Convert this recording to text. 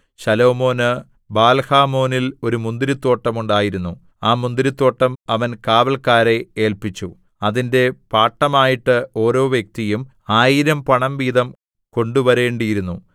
ശലോമോന് ബാൽഹാമോനിൽ ഒരു മുന്തിരിത്തോട്ടം ഉണ്ടായിരുന്നു ആ മുന്തിരിത്തോട്ടം അവൻ കാവല്ക്കാരെ ഏല്പിച്ചു അതിന്റെ പാട്ടമായിട്ട് ഓരോ വ്യക്തിയും ആയിരം പണം വീതം കൊണ്ടുവരേണ്ടിയിരുന്നു